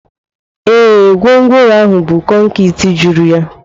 Ee, gwongworo ahụ bu konkịtị juru ya.